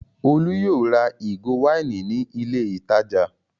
Olú yóò ra ìgò wáìnì ní ilé-ìtajà!